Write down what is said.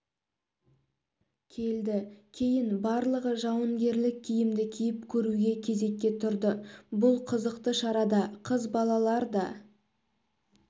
келді кейін барлығы жауынгерлік киімді киіп көруге кезекке тұрды бұл қызықты шарада қыз балалар да